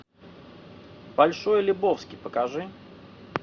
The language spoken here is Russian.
большой лебовски покажи